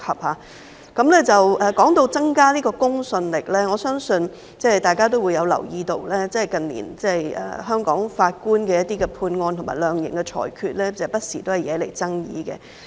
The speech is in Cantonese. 說到增加公信力，我相信大家也留意到，近年香港法官的一些判案和量刑的裁決，不時惹來爭議。